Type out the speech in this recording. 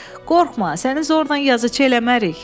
Qorxma, səni zorla yazıçı eləmərik.